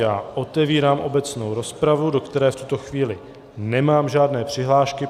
Já otevírám obecnou rozpravu, do které v tuto chvíli nemám žádné přihlášky.